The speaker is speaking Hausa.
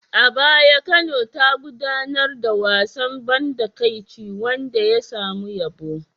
A baya Kano ta gudanar da wasan ban takaici wanda ya samu yabo.